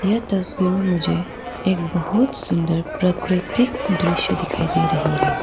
यह तस्वीर में मुझे एक बहुत सुंदर प्राकृतिक दृश्य दिखाई दे रही है।